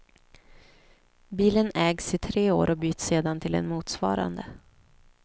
Bilen ägs i tre år och byts sedan till en motsvarande.